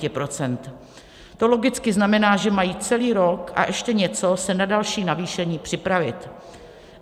To logicky znamená, že mají celý rok a ještě něco se na další navýšení připravit.